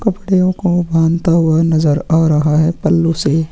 कपड़ेओ को बांधते हुए नजर आ रहा है पल्लू से।